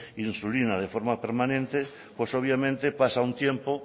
insulina de forma permanente pues obviamente pasa un tiempo